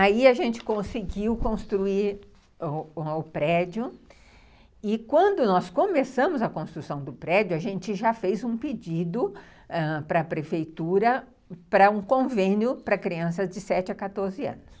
Aí a gente conseguiu construir um um o prédio e quando nós começamos a construção do prédio, a gente já fez um pedido ãh para a prefeitura para um convênio para crianças de sete a quatorze anos.